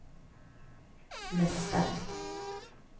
mästare